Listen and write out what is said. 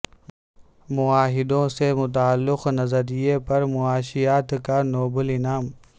معاہدوں سے متعلق نظریے پر معاشیات کا نوبل انعام